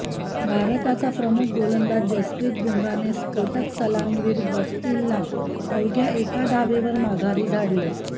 भारताचा प्रमुख गोलंदाज जसप्रीत बुमराहने स्फोटक सलामीवीर गप्टिलला अवघ्या एका धावेवर माघारी धाडले